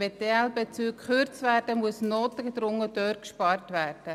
Wenn die ELBezüge gekürzt werden, muss notgedrungen beim Personal gespart werden.